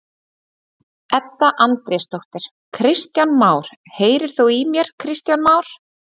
Edda Andrésdóttir: Kristján Már, heyrir þú í mér Kristján Már?